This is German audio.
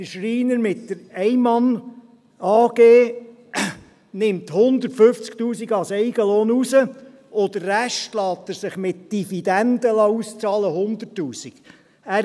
der Schreiner mit der Einmann-AG nimmt 150’000 Franken als Eigenlohn raus, und der Rest lässt er sich mit Dividenden ausbezahlen, 100’000 Franken.